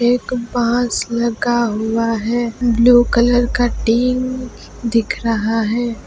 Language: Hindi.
एक बास लगा हुआ है ब्लू कलर का टीन दिख रहा है।